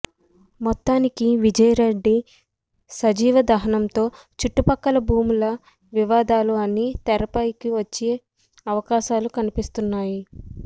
మొత్తానికి విజయారెడ్డి సజీవదహనంతో చుట్టు పక్కల భూముల వివాదాలు అన్నీ తెరపైకి వచ్చే అవకాశాలు కన్పిస్తున్నాయి